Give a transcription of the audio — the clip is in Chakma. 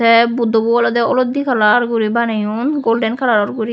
te buddobo olodde kalar guri baneyon golden kalaro guri.